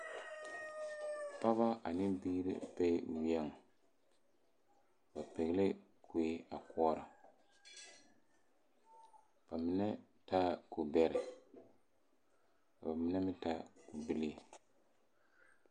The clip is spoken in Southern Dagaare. Pɔgeba ane biiri bee weɛŋ ba pɛglɛɛ kue a koɔra ba mine taaɛ kubɛrɛ ka ba mine meŋ taa kubilii.